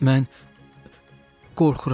Mən qorxuram.